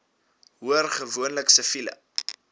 hoor gewoonlik siviele